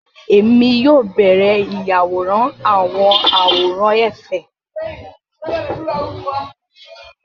Èmi yóò bẹrẹ ìyàwòrán awọn àwòrán efe